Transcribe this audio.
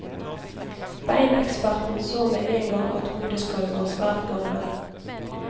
Beineksperten så med en gang at hodeskallen var svært gammel.